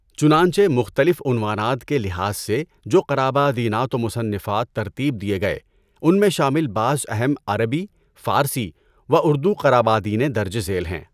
چنانچہ مختلف عنوانات کے لحاظ سے جو قرابادینات و مصنَّفات ترتیب دیے گئے، اُن میں شامل بعض اہم عربی، فارسی و اُردو قرابادینیں درجِ ذیل ہیں۔